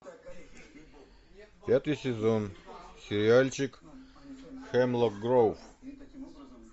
пятый сезон сериальчик хемлок гроув